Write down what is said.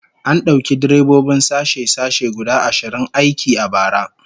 An dauki direbobin sashe-sashe guda ashirin aiki a bara